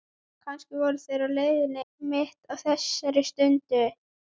Kannski voru þeir á leiðinni einmitt á þessari stundu.